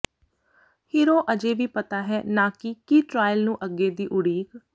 hero ਅਜੇ ਵੀ ਪਤਾ ਹੈ ਨਾ ਕਿ ਕੀ ਟਰਾਇਲ ਨੂੰ ਅੱਗੇ ਦੀ ਉਡੀਕ